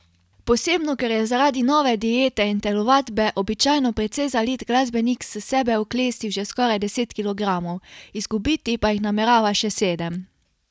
Posebno ker je zaradi nove diete in telovadbe običajno precej zalit glasbenik s sebe oklestil že skoraj deset kilogramov, izgubiti pa jih namerava še sedem.